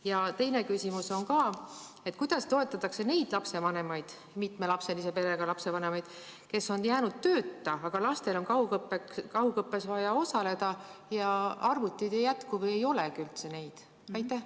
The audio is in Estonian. Ja teine küsimus on ka: kuidas toetatakse neid lapsevanemaid, mitmelapselise perega lapsevanemaid, kes on jäänud tööta, aga lastel on kaugõppes vaja osaleda ja arvuteid ei jätku või neid üldse ei olegi?